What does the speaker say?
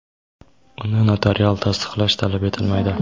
uni notarial tasdiqlash talab etilmaydi.